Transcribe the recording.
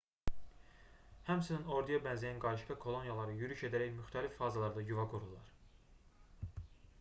həmçinin orduya bənzəyən qarışqa koloniyaları yürüş edərək müxtəlif fazalarda yuva qururlar